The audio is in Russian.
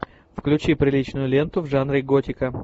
включи приличную ленту в жанре готика